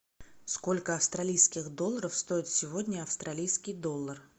сколько австралийских долларов стоит сегодня австралийский доллар